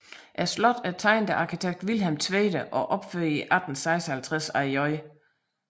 Slottet er tegnet af arkitekt Vilhelm Tvede og opført i 1856 af J